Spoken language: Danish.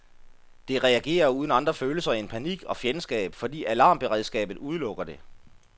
Det reagerer uden andre følelser end panik og fjendskab, fordi alarmberedskabet udelukker det.